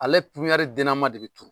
Ale den na ma de be turu.